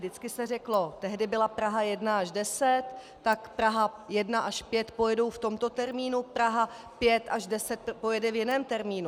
Vždycky se řeklo - tehdy byla Praha 1 až 10 - tak Praha 1 až 5 pojedou v tomto termínu, Praha 5 až 10 pojede v jiném termínu.